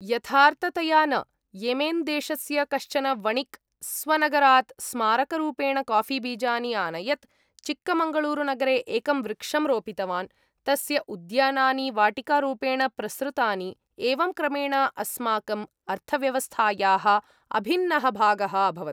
यथार्थतया न! येमेन् देशस्य कश्चन वणिक् स्वनगरात् स्मारकरूपेण काफ़ीबीजानि आनयत्, चिक्मगळूरुनगरे एकं वृक्षं रोपितवान्, तस्य उद्यानानि वाटिकारूपेण प्रसृतानि, एवं क्रमेण अस्माकम् अर्थव्यवस्थायाः अभिन्नः भागः अभवत्।